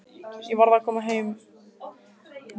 Ég varð að koma með hann hingað.